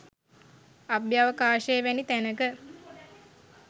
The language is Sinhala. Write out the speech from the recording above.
අභ්‍යවකාශය වැනි තැනක